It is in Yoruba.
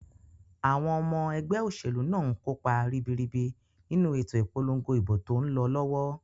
Àwon omo egbé òsèlú náà nkópa ribiribi nínu ètò ìpolongo ìbò tón lo lówó